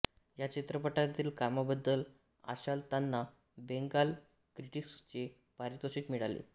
या चित्रपटातील कामाबद्दल आशालतांना बेंगाल क्रिटिक्सचे पारितोषिक मिळाले